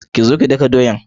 kizo ki daka doyan.